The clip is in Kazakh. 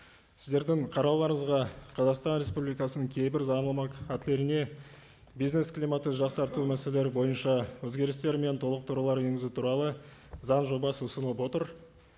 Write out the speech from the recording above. сіздердің қарауларыңызға қазақстан республикасының кейбір заңнамалық актілеріне бизнес климатты жақсарту мәселелері бойынша өзгерістер мен толықтырулар енгізу туралы заң жобасы ұсынылып отыр